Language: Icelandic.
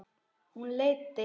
Hún leiddi